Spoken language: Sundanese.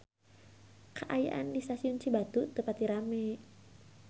Kaayaan di Stasiun Cibatu teu pati rame